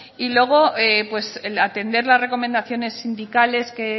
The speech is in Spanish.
y luego atender las recomendaciones sindicales que